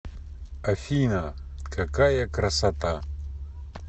афина какая красота